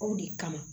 Aw de kama